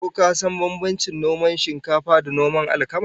Ko ka san bambancin noman shinkafa da noman alkama?